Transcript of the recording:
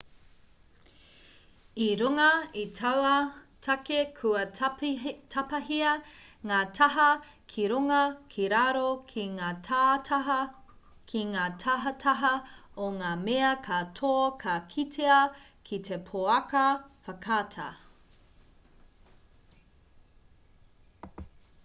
i runga i taua take kua tapahia ngā taha ki runga ki raro ki ngā tahataha o ngā mea katoa ka kitea ki te pouaka whakaata